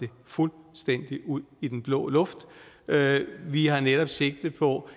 fuldstændig ud i den blå luft vi har netop sigte på